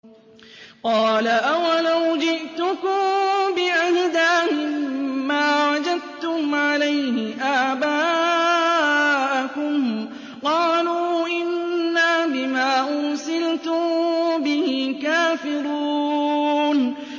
۞ قَالَ أَوَلَوْ جِئْتُكُم بِأَهْدَىٰ مِمَّا وَجَدتُّمْ عَلَيْهِ آبَاءَكُمْ ۖ قَالُوا إِنَّا بِمَا أُرْسِلْتُم بِهِ كَافِرُونَ